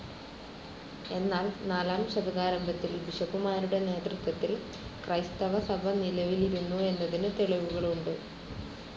എന്നാൽ നാലാം ശതകാരംഭത്തിൽ ബിഷപ്പുമാരുടെ നേതൃത്വത്തിൽ ക്രൈസ്തവസഭ നിലവിലിരുന്നു എന്നതിനു തെളിവുകളുണ്ട്.